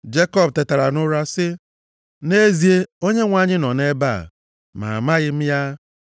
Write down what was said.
Jekọb tetara nʼụra sị, “Nʼezie Onyenwe anyị nọ nʼebe a. Ma amaghị m ya.”